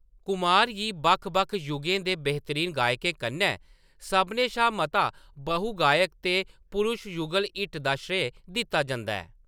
कुमार गी बक्ख-बक्ख युगें दे बेहतरीन गायकें कन्नै सभनें शा मता बहु गायक ते पुरश युगल हिट दा श्रेय दित्ता जंदा ऐ।